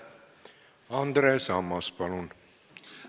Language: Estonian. Andres Ammas, palun!